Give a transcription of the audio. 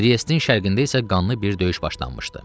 Triyestin şərqində isə qanlı bir döyüş başlanmışdı.